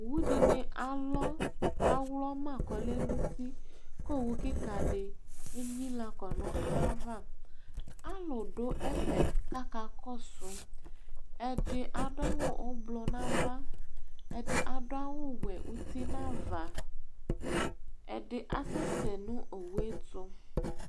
Owω dini alɔ ka wlɔma kɔ lɛ nu uti Ko owu kika di éynila kɔ nu ayava Alu du ɛfɛ ka akakɔsu Ɛdi adu awu ublɔ nava Ɛdi adawu wɛ uti nava Ɛdi asɛsɛ nu owuétu